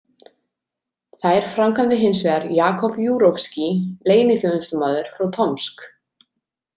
Þær framkvæmdi hins vegar Jakov Júrovskíj, leyniþjónustumaður frá Tomsk.